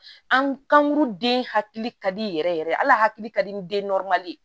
An kankuru den hakili ka di yɛrɛ yɛrɛ ala hakili ka di den